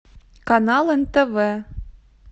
канал нтв